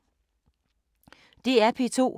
DR P2